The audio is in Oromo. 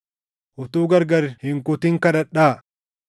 utuu gargar hin kutin kadhadhaa.